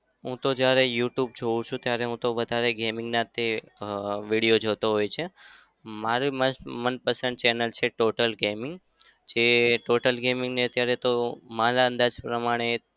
હું તો જ્યારે youtube જોવું છું ત્યારે હું તો વધારે gamming ના જ અમ video જોતો હોય છે. મારી મન~ મનપસંદ channel છે total gaming જે total gaming ને અત્યારે તો મારા અંદાજ પ્રમાણે